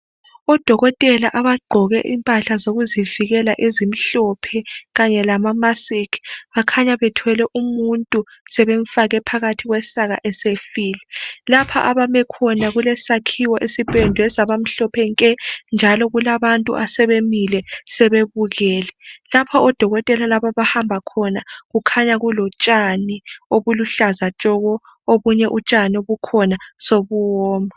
Odokotela abagqoke impahla zokuzivikela ezimhlophe .Kanye lama mask .Bakhanya bethwele umuntu sebemfake. phakathi kwesaka esefile lapha abame. khona kulesakhiwo esipendwe saba mhlophe nke .Njalo kulabantu asebemile sebebukele .Lapho odokotela lapha odokotela laba abahamba khona kukhanya kulotshani obuluhlaza tshoko. Obunye utshani obukhona sobuwoma .